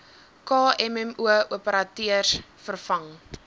kmmo operateurs vervang